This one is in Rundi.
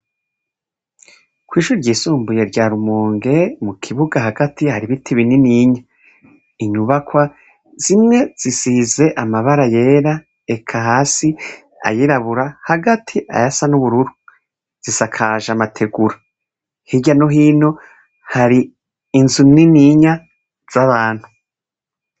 Kw'ishure ryisumbuye rya rumonge mu kibuga hagati hari ibiti bininiya, inyubakwa zimwe zisize amabara yera eka hasi ayirabura, hagati ayasa nubururu, zisakaje amatigura, hirya no hino hari inzu nininya zabantu.